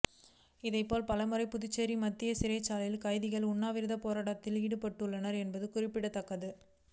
இதேபோல் பலமுறை புதுச்சேரி மத்திய சிறைச்சாலை கைதிகள் உண்ணாவிரதப் போராட்டத்தில் ஈடுபட்டுள்ளனர் என்பது குறிப்பிடத்தக்கது